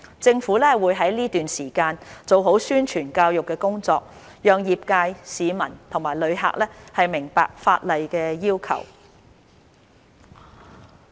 政府會在這段時間做好宣傳教育工作，讓業界、市民及旅客明白法例要求。